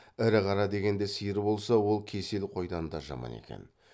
ірі қара дегенде сиыр болса ол кесел қойдан да жаман екен